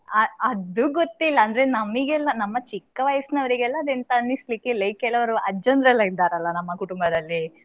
ಅದು ಗೊತ್ತಿಲ್ಲ ಅಂದ್ರೆ ನಮಿಗೆಲ್ಲ ನಮ್ಮ ಚಿಕ್ಕ ವಯಸ್ಸು ನವರಿಗೆಲ್ಲ ಅದೆಲ್ಲ ಎಂತ ಅನಿಸ್ಲಿಕಿಲ್ಲ, ಈ ಕೆಲವರು ಅಜ್ಜಂದಿರು ಇದ್ದಾರಲ್ಲ ನಮ್ಮ ಕುಟುಂಬದಲ್ಲಿ.